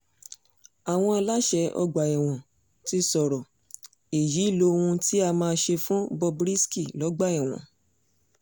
àwọn aláṣẹ ọgbà ẹ̀wọ̀n ti sọ̀rọ̀ èyí lóhun tí a máa ṣe fún bob risky lọ́gbà ẹ̀wọ̀n